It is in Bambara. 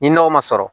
Ni nɔgɔ ma sɔrɔ